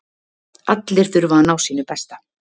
Allir þurfa að ná sínu besta